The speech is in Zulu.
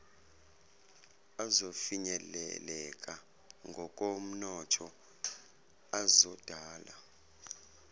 azofinyeleleka ngokomnotho azodala